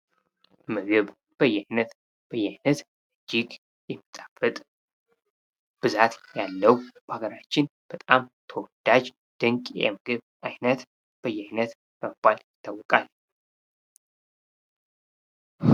ምግብ በየአይነት በየአይነት እጅግ የሚጣፍጥ ብዛት የለው በሀገራችን በጣም ተወዳጅ ድንቅ የምግብ ዓይነት በየአይነት በመባል ይታወቃል::